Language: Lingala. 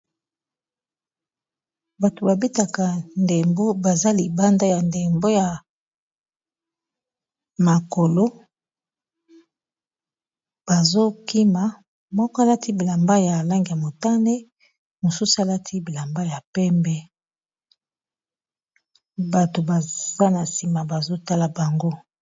Bato babetaka ndembo baza libanda ya ndembo ya makolo bazokima moko alati bilamba ya langi ya motane mosusu alati bilamba ya pembe bato baza na nsima bazotala bango.